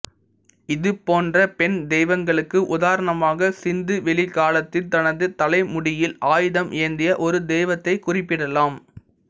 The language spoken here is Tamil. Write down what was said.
இது போன்ற பெண் தெய்வங்களுக்கு உதாரணமாக சிந்து வெளி காலத்தின் தனது தலைமுடியில் ஆயுதம் ஏந்திய ஒரு தெய்வத்தை குறிப்பிடலாம்